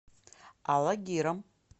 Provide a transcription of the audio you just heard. алагиром